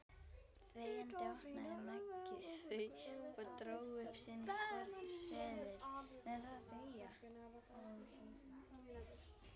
Þegjandi opnaði Maggi þau og dró upp sinn hvorn seðilinn.